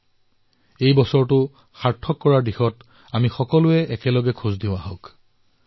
আহক আমি সকলোৱে এই বৰ্ষটোক সাৰ্থক কৰি তোলাৰ বাবে পদক্ষেপ গ্ৰহণ কৰো